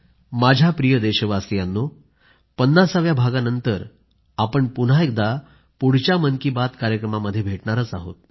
माझ्या प्रिय देशवासियांनो 50 व्या भागानंतर आपण पुन्हा एकदा पुढच्या मन की बात कार्यक्रमामध्ये भेटणार आहोत